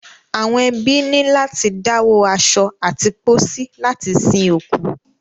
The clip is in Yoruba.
Àwọn ẹbí ní láti dáwó aṣọ àti pósí láti sin òkú.